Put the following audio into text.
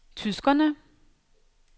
tyskerne